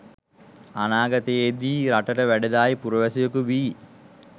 අනාගතයේදී රටට වැඩදායී පුරවැසියකු වී